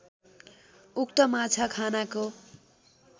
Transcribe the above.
उक्त माछा खानाको